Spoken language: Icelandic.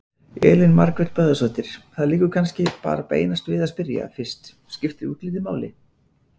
Elín Margrét Böðvarsdóttir: Það liggur kannski bara beinast við að spyrja fyrst: Skiptir útlitið máli?